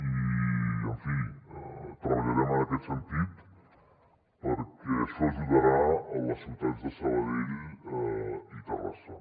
i en fi treballarem en aquest sentit perquè això ajudarà a les ciutats de sabadell i terrassa